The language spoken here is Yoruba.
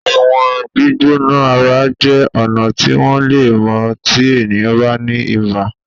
Iwọn gbígbóná ara jé ọnà tí wón lè mọ tí ènìyàn ba ní ibà.